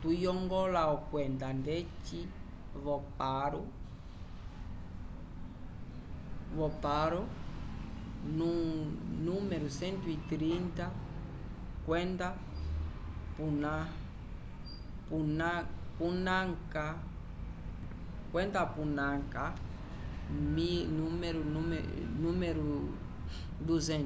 tuyongola okwenda ndeci vo paro nu 150 kwenda punakha nu 200